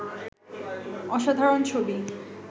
অসাধারণ ছবি